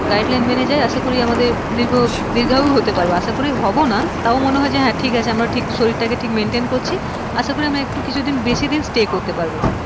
guideline মেনে যাই, আশা করি আমাদের দীর্ঘ, দীর্ঘায়ূ হতে পারবো, আশা করি হবো না তাও মনে হয় যে হ্যাঁ ঠিক আছে শরীর টাকে ঠিক maintain করছি, আশা করি আমি একটু কিছুদিন বেশিদিন stay করতে পারবো,